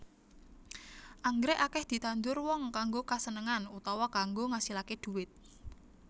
Anggrèk akèh ditandur wong kanggo kasenengan utawa kanggo ngasilaké dhuwit